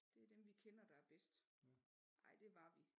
Det er dem vi kender der er bedst ej det var vi